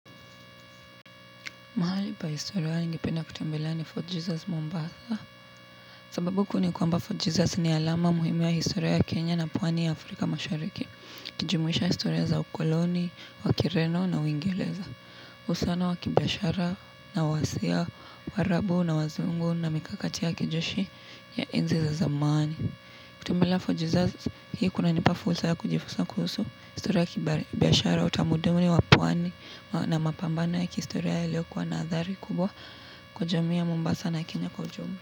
Mahali pa historia wa ningependa kutembelea ni Fort Jesus Mombasa. Sababu ku ni kwamba Fort Jesus ni alama muhimu ya historia ya Kenya na pwani ya Afrika mashariki. Kijumuisha historia za ukoloni, wakireno na wingereza. Usana wa kibiashara na wasia, warabu na wazungu na mikakati ya kijeshi ya enzi za zamani. Kutembelea Fort Jesus hii kunanipa fursa ya kujifunza kuhusu. Historia ya kibiashara utamuduni wa pwani na mapambana ya kihistoria ya leo kwa nadhari kubwa kwa jamii ya Mombasa na Kenya Kwa jumla.